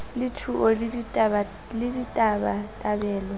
le g thuo le ditabatabelo